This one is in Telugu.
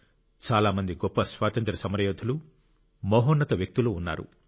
చాలా మంది గొప్ప స్వాతంత్ర్య సమరయోధులు మహోన్నత వ్యక్తులు ఉన్నారు